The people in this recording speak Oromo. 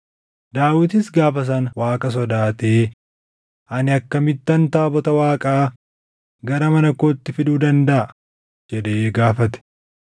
Daawitis gaafa sana Waaqa sodaatee, “Ani akkamittan taabota Waaqaa gara mana kootti fiduu dandaʼa?” jedhee gaafate.